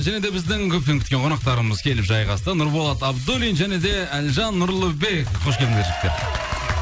және де біздің көптен күткен қонақтарымыз келіп жайғасты нұрболат абдуллин және де әлжан нұрлыбек қош келдіңдер жігіттер